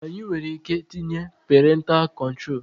Anyị nwereike tinye perentalụ kọntrol